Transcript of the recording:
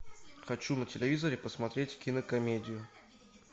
хочу на телевизоре посмотреть кинокомедию